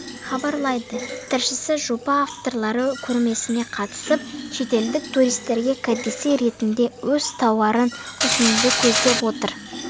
хабарлайды тілшісі жоба авторлары көрмесіне қатысып шетелдік туристерге кәдесый ретінде өз тауарын ұсынуды көздеп отыр